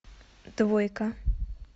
двойка